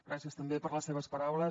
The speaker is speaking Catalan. gràcies també per les seves paraules